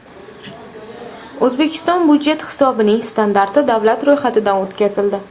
O‘zbekiston budjet hisobining standarti davlat ro‘yxatidan o‘tkazildi.